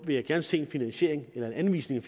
vil jeg gerne se en finansiering eller en anvisning